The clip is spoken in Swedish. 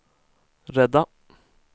rädda